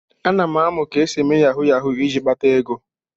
Ana m amụ ka esi eme yahu yahu iji kpata ego.